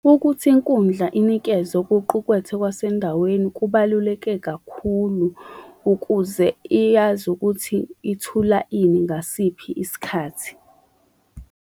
Ukuthi inkundla inikezwa okuqukwethe okwasendaweni kubaluleke kakhulu ukuze iyazi ukuthi ithula ini ngasiphi isikhathi.